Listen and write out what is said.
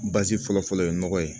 fɔlɔ fɔlɔ ye nɔgɔ ye